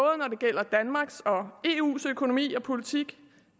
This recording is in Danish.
eus økonomi og politik